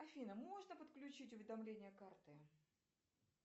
афина можно подключить уведомление карты